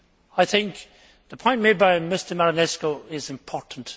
I think the point made by Mr Marinescu is important.